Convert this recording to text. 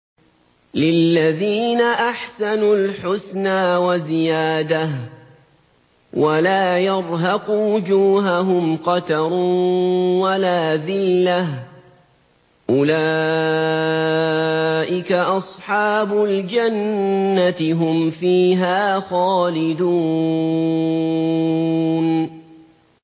۞ لِّلَّذِينَ أَحْسَنُوا الْحُسْنَىٰ وَزِيَادَةٌ ۖ وَلَا يَرْهَقُ وُجُوهَهُمْ قَتَرٌ وَلَا ذِلَّةٌ ۚ أُولَٰئِكَ أَصْحَابُ الْجَنَّةِ ۖ هُمْ فِيهَا خَالِدُونَ